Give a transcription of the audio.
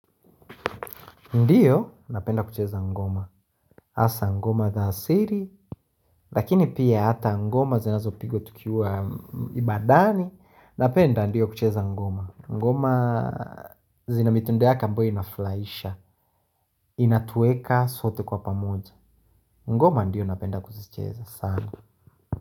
Ndiyo napenda kucheza ngoma Asa ngoma za asili Lakini pia hata ngoma zinazo pigwa tukiwa ibadani Napenda ndiyo kucheza ngoma ngoma zinamitindo yake ambayo inafrahisha Inatueka sote kwa pamoja ngoma ndiyo napenda kucheza sana.